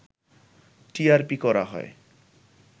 TRP করা হয়